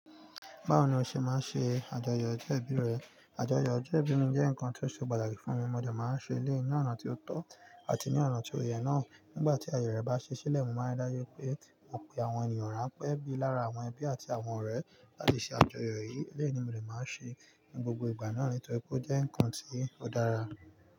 Báwo ni o ṣe máa ń ṣe àjọyọ̀ ọjọ́ ìbí rẹ? Àjọyọ̀ ọjọ́ ìbí mi jẹ́ nǹkan tó ṣe pàtàkì fún mi. Mo dẹ máa ń ṣe eléyìí ní ọ̀nà tí ó tọ́ àti ní ọ̀nà tí ó yẹ náà. Nígbà tí ayẹyẹ rẹ̀ bá ṣe sílẹ̀, mo máa ń ri dájú pé mo pe àwọn ènìyàn rán pẹ̀ bí lára, àwọn ẹbí àti àwọn ọ̀rẹ́ láti ṣe àjọyọ̀ yìí. Eléyìí ni mo dè máa ṣe ní gbogbo ìgbà náà nítorí pé ó jẹ́ nǹkan tí ó dára.